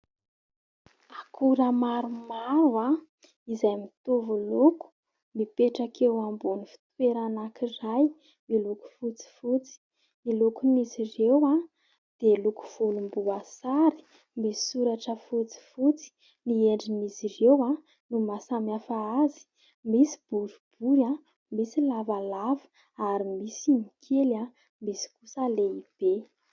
Akora maromaro izay mitovy loko mipetraka eo ambon'ny fitoerana anankiray miloko fotsifotsy ny lokon'izy ireo dia loko volomboasary, misy soratra fotsifotsy, ny endrin'izy ireo no mahasamihafa azy, misy boribory misy lavalava ary misy ny kely, misy kosa lehibe.